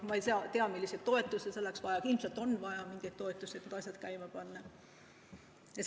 Ma ei tea, milliseid toetusi selleks vaja on, aga ilmselt on vaja mingeid toetusi, et need asjad käima panna.